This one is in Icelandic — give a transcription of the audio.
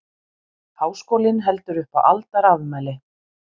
Háskólinn heldur upp á aldarafmæli